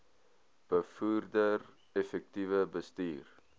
bevorder effektiewe bestuur